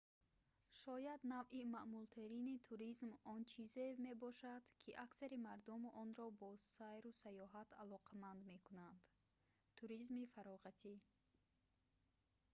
шояд навъи маъмултарини туризм он чизе мебошад ки аксари мардум онро бо сайру сайёҳат алоқаманд мекунанд туризми фароғатӣ